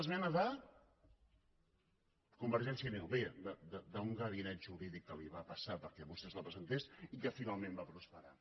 bé d’un gabinet jurídic que li va passar perquè vostès la presentessin i que finalment va prosperar